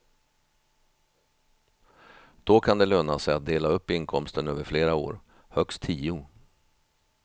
Då kan det löna sig att dela upp inkomsten över flera år, högst tio.